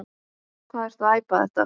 Hvað ertu að æpa þetta.